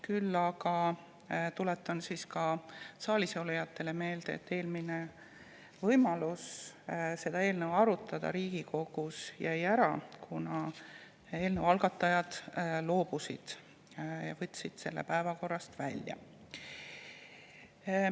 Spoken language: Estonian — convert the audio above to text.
Küll aga tuletan saalisolijatele meelde, et eelnõu arutelu jäi Riigikogus eelmine kord ära, kuna eelnõu algatajad loobusid ja võtsid selle päevakorrast välja.